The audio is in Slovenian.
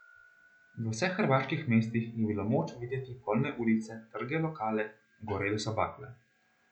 V vseh Hrvaški mestih je bilo moč videti polne ulice, trge, lokale, gorele so bakle ...